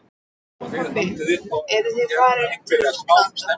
Mamma og pabbi eru að fara til útlanda.